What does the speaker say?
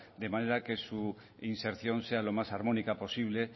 de manera que su inserción sea lo más armónica posible